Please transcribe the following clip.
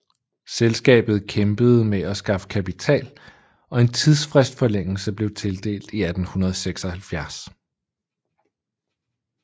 Selskabet kæmpede med at skaffe kapital og en tidsfristforlængelse blev tildelt i 1876